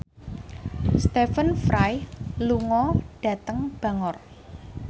Stephen Fry lunga dhateng Bangor